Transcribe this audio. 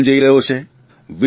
gas પણ જઇ રહ્યો છે